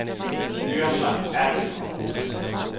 Yrsa Abildgaard